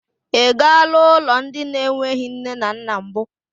I galaa ụlọ ndị na-enweghị nne na nna mbụ.